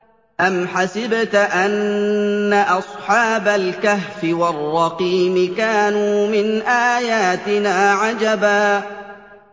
أَمْ حَسِبْتَ أَنَّ أَصْحَابَ الْكَهْفِ وَالرَّقِيمِ كَانُوا مِنْ آيَاتِنَا عَجَبًا